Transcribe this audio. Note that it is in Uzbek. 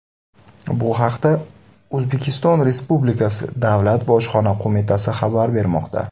Bu haqda O‘zbekiston Respublikasi Davlat Bojxona qo‘mitasi xabar bermoqda .